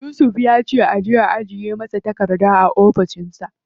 Yusuf ya ce a ajiye masa takardun a ofishin sa.